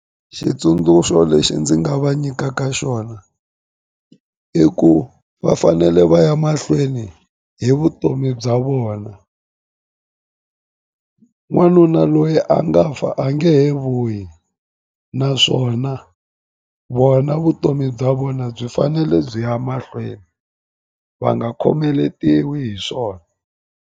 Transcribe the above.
Xitsundzuxo lexi ndzi nga va nyikaka xona i ku va fanele va ya mahlweni hi vutomi bya vona n'wanuna loyi a nga fa a nge he vuyi naswona vona vutomi bya vona byi fanele byi ya mahlweni va nga khomeletiwi hi swona.